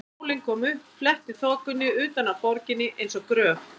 Sólin kom upp, fletti þokunni utan af borginni eins og gjöf.